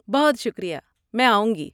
بہت شکریہ! میں آؤں گی۔